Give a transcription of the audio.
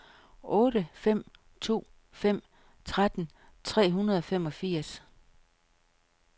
otte fem to fem tretten tre hundrede og femogfirs